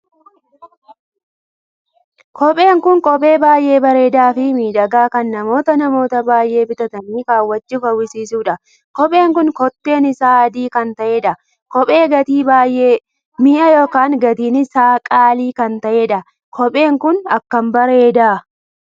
Kopheen kun kophee baay'ee bareedaa Fi miidhagaa kan namoota namoota baay'ee bitatanii kaawwachuuf hawwisuudha. kopheen kun kotteen isaa adii kan taheedha. kophee gatii baay'ee minya'a ykn gatiin isaa qaalii kan taheedha. kophee kun akkam bareeda!